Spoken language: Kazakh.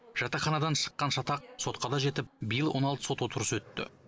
жатақханадан шыққан шатақ сотқа да жетіп биыл он алты сот отырыс өтті